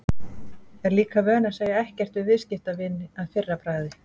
Er líka vön að segja ekkert við viðskiptavin að fyrra bragði.